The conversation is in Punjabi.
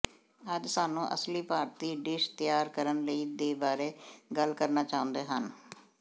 ਅੱਜ ਸਾਨੂੰ ਅਸਲੀ ਭਾਰਤੀ ਡਿਸ਼ ਤਿਆਰ ਕਰਨ ਲਈ ਦੇ ਬਾਰੇ ਗੱਲ ਕਰਨਾ ਚਾਹੁੰਦੇ ਹਨ